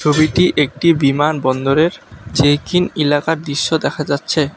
এটি একটি বিমান বন্দরের চেক ইন এলাকার দিশ্য দেখা যাচ্ছে।